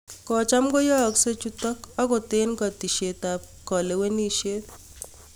" Kocham koyaakse chuutok, angoot eng' ketesyeet ap kalewenisyeet